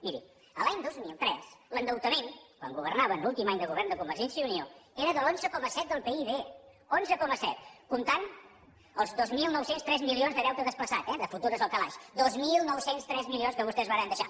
miri l’any dos mil tres l’endeutament quan governaven l’últim any de govern de convergència i unió era de l’onze coma set del pib onze coma set comptant els dos mil nou cents i tres milions de deute desplaçat eh de factures al calaix dos mil nou cents i tres milions que vostès varen deixar